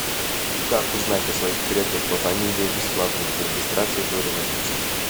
как узнать о своих предках по фамилии бесплатно без регистрации до революции